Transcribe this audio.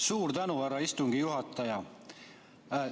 Suur tänu, härra istungi juhataja!